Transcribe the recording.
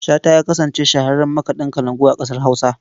Shata ya kasance shahararren makaɗin kalangu a ƙasar Hausa.